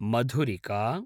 मधुरिका